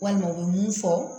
Walima u bɛ mun fɔ